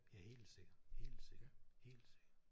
Ja helt sikkert helt sikkert helt sikkert